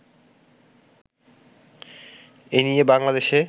এ নিয়ে বাংলাদেশে